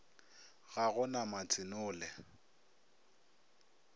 ga go na matse nole